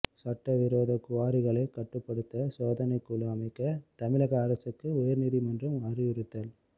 சட்டவிரோத குவாரிகளை கட்டுப்படுத்த சோதனைக்குழு அமைக்க தமிழக அரசுக்கு உயர்நீதிமன்றம் அறிவுறுத்தல்